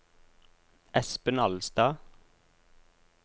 Espen Alstad